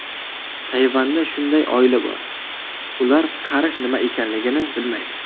Tayvanda shunday oila bor: ular qarish nima ekanligini bilmaydi.